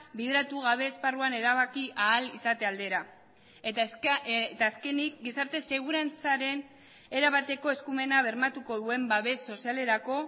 bideratu gabe esparruan erabaki ahal izate aldera eta azkenik gizarte segurantzaren erabateko eskumena bermatuko duen babes sozialerako